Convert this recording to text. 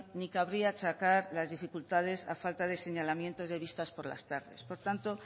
ni cabría achacar las dificultades a falta de señalamiento de vistas por las tardes por tanto